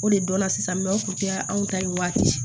O de donna sisan o kun kɛra anw ta ye waati di